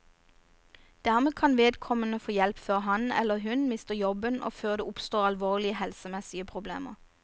Dermed kan vedkommende få hjelp før han, eller hun, mister jobben og før det oppstår alvorlige helsemessige problemer.